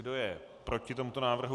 Kdo je proti tomuto návrhu?